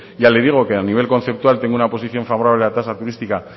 ya le digo que a nivel conceptual tengo una posición favorable a la tasa turística